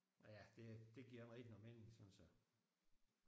Og ja det det giver mig ikke nogen mening synes jeg